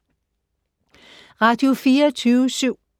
Radio24syv